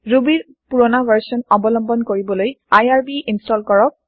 ৰুবীৰ পূৰণা ভাৰ্চন অবলম্বন কৰিবলৈ আইআৰবি ইন্চটল কৰক